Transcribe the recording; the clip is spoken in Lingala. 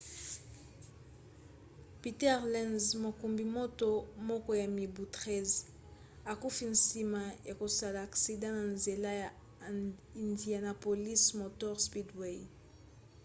peter lenz mokumbi moto moko ya mibu 13 akufi nsima ya kosala aksida na nzela ya indianapolis motor speedway